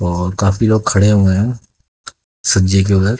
और काफी लोग खड़े हुए हैं सज्जे के उधर--